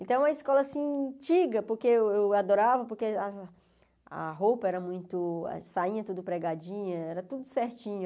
Então, é uma escola, assim, antiga, porque eu eu adorava, porque a roupa era muito, a sainha tudo pregadinha, era tudo certinho.